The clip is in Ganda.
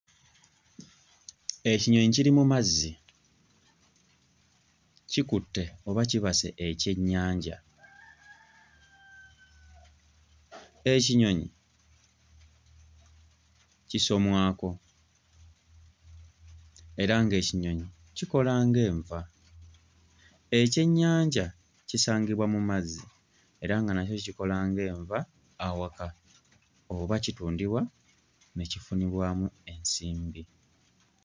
Ekinyonyi kiri mu mazzi kikutte oba kibase ekyennyanja. Ekinyonyi kisomwako era ng'ekinyonyi kikola nga enva. Ekyennyanja kisangibwa mu mazzi era nga nakyo kikola nga enva awaka oba kitundibwa ne kifunibwamu ensimbi.